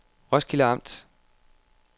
Roskilde Amt